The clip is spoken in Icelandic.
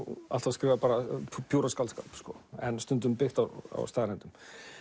alltaf skrifað pjúra skáldskap en stundum byggt á staðreyndum